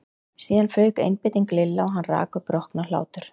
Síðan fauk einbeiting Lilla og hann rak upp roknahlátur.